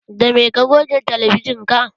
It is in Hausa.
Da me ka goge talabijin ka?